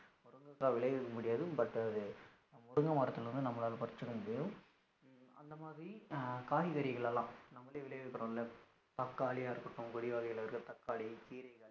முருங்கைக்கா விளைய வைக்க முடியாது but அது முருங்கை மரதுல இருந்து நம்மலாள பருசிக்க முடியும், அந்த மாதிரி காய்கறிகள் எல்லாம் நம்மலே விளையவைக்ரோம்ல தக்காளி யா இருக்கட்டும் இருக்கட்டும் தக்காளி கீரைகள்